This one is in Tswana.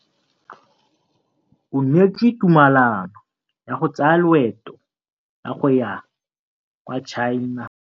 O neetswe tumalanô ya go tsaya loeto la go ya kwa China.